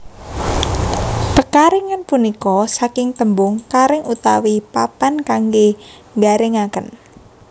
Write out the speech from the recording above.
Pekaringan punika saking tembung karing utawi papan kangge nggaringaken